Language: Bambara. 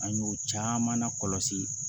An y'o caman na kɔlɔsi